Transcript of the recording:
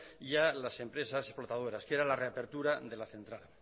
y a las empresas explotadoras que era la reapertura de la central